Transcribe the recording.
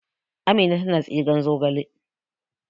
Amina tana tsigen zogale